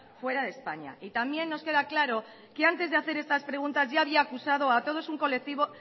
fuera de españa y también nos queda claro que antes de hacer estas preguntas ya había acusado a todo un colectivo